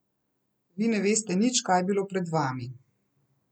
Vi ne veste nič, kaj je bilo pred vami.